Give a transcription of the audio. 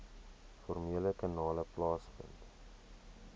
formele kanale plaasvind